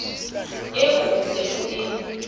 eo o se o e